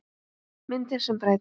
Myndir sem breyta